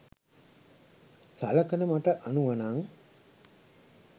සලකන මට අනුවනං